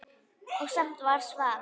Og samt var svarað.